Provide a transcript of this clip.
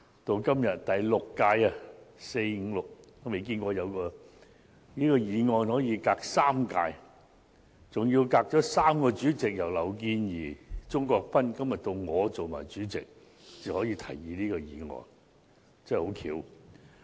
到了今天第六屆立法會，我也沒有見過有議案可以相隔3屆，經過敝黨3個主席，由劉健儀、鍾國斌議員，到今天我做黨主席，才可以獲提出，真的很巧合。